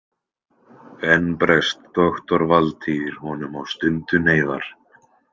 Enn bregst doktor Valtýr honum á stundu neyðar.